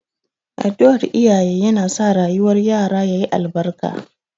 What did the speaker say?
Addu'ar iyaye yana sa rayuwar yara ya yi albarka.